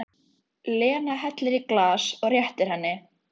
Hún kom heldur ekki næsta dag.